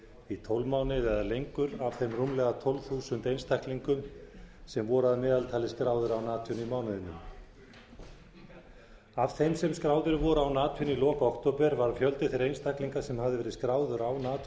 í tólf mánuði eða lengur af þeim rúmlega tólf þúsund einstaklingum sem voru að meðaltali skráðir án atvinnu í mánuðinum af þeim sem skráðir voru án atvinnu í lok október var fjöldi þeirra einstaklinga sem höfðu verið skráðir án atvinnu